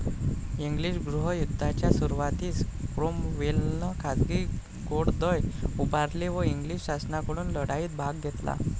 English गृह युद्धाच्या सुरुवातीस क्रोमवेलने खाजगी घोडदळ उभारले व इंग्लिश शासनाकडून लढाईत भाग घेतला